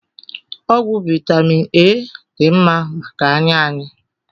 Ọgwụ vitamin A dị mma maka anya anyị